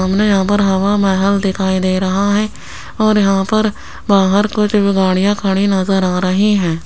हमने यहां पर हवा महल दिखाई दे रहा है और यहां पर बाहर कुछ गाड़ियां खड़ी नजर आ रही हैं।